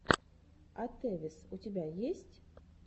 атевис у тебя есть